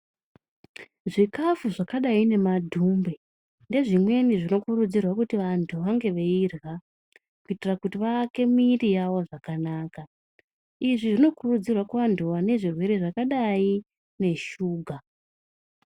Zvikafu zvakadai nemadhumbe , ndezvimweni zvinokurudzirwa kuti vantu vange veyirya, kuitira kuti vake mwiri yawo zvakanaka. Izvi zvinokurudzirwa kuvantu vanezve zvirwere zvakadai neshuga.